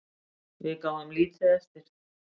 Við gáfum lítið eftir.